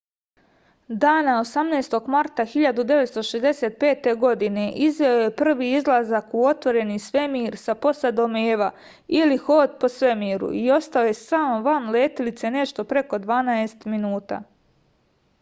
дана 18. марта 1965. године извео је први излазак у отворени свемир са посадом eva или ход по свемиру и остао је сам ван летелице нешто преко дванаест минута